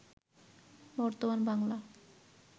বর্তমান বাংলা